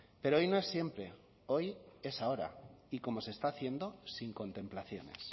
pero hoy no es siempre hoy es ahora y como se está haciendo sin contemplaciones